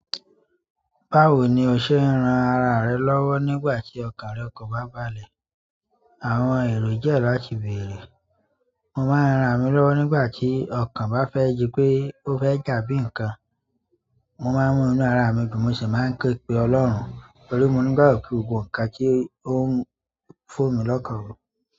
"Báwo ni o ṣe ń ran ara rẹ lọ́wọ́ nígbà tí ọkàn rẹ kò bá balẹ̀?" Àwọn èrò jẹ́ láti béèrè. Mo máa ń ran ra mi lọ́wọ́ nígbà tí ọkàn bá fẹ́ yí pé ó fẹ́ dà bí ǹkan. Mo máa ń mú inú ara mi dùn mo ṣì máa ń ké pe Ọlọ́run, torí mo nígbàgbọ́ wípé gbogbo ǹkan tí ó n fò mí lọ́kàn ru.